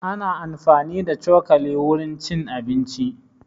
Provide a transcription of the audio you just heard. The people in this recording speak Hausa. Ana amfani da cokali wurin cin abinci